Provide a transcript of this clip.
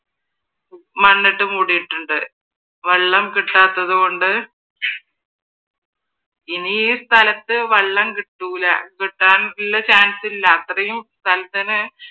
മണ്ണിട്ട് മൂടിയിട്ടുണ്ട്. വെള്ളം കിട്ടാത്തത് കൊണ്ട്ഇ നി ഈ സ്ഥലത്ത് വെള്ളം കിട്ടൂല കിട്ടാനുള്ള chance ഇല്ല. അത്രയും സ്ഥലത്തിന്